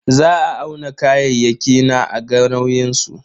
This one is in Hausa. Za a auna kayayyaki na a ga nauyin su.